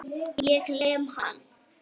Ég lem hann.